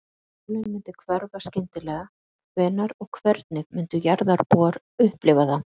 Ef sólin myndi hverfa skyndilega, hvenær og hvernig myndu jarðarbúar upplifa það?